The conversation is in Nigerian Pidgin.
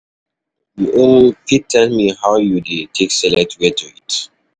You um fit tell me how you dey take select where to eat? um